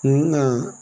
Nka